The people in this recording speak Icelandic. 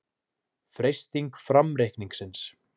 Freisting framreikningsins